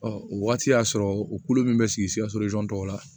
o wagati y'a sɔrɔ u kulo min bɛ sigi sikaso tɔw la